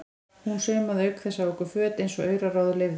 Hún saumaði auk þess á okkur föt eins og auraráð leyfðu.